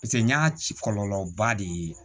Paseke n y'a ci kɔlɔlɔba de ye